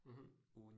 Mh